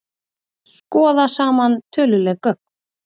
Skoða saman töluleg gögn